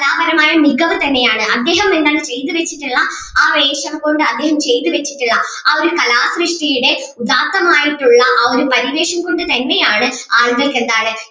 കലാപരമായ മികവ് തന്നെ ആണ് അദ്ദേഹം എന്താണ് ചെയ്തുവെച്ചിട്ടുള്ള ആ ഒരു വേഷം കൊണ്ട് അദ്ദേഹം ചെയ്തുവെച്ചിട്ടുള്ള ആ ഒരു കലാസൃഷ്ടിയുടെ ഉദാത്തമായിട്ടുള്ള ആ ഒരു പരിവേഷം കൊണ്ട് തന്നെ ആണ് ആളുകൾക്ക് എന്താണ്